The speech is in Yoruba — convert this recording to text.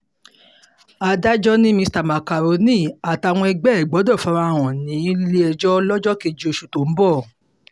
adájọ́ ni mr macaroni àtàwọn ẹgbẹ́ ẹ̀ gbọdọ̀ fara hàn nílé-ẹjọ́ lọ́jọ́ kejì oṣù tó ń bọ̀